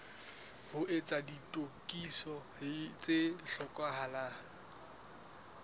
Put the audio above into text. ho etsa ditokiso tse hlokahalang